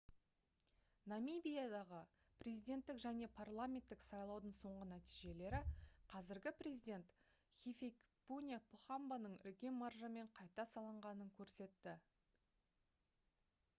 намибиядағы президенттік және парламенттік сайлаудың соңғы нәтижелері қазіргі президент хификепунье похамбаның үлкен маржамен қайта сайланғанын көрсетті